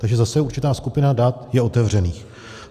Takže zase určitá skupina dat je otevřených.